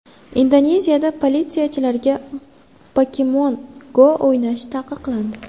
Indoneziyada politsiyachilarga Pokemon Go o‘ynash taqiqlandi.